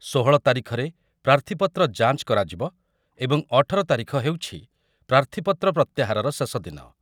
ଷୋହଳ ତାରିଖରେ ପ୍ରାର୍ଥୀପତ୍ର ଯାଞ୍ଚ କରାଯିବ ଏବଂ ଅଠର ତାରିଖ ହେଉଛି ପ୍ରାର୍ଥୀପତ୍ର ପ୍ରତ୍ୟାହାରର ଶେଷଦିନ ।